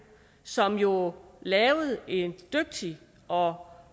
som jo lavede et dygtigt og